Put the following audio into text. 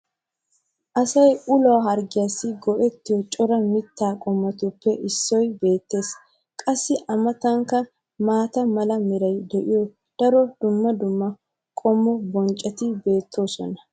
asay uluwa harggiyaassi go'ettiyo cora mitaa qommotu[ppe issoy beetees. qassi a matankka maata mala meray de'iyo daro dumma dumma qommo bonccoti beetoosona.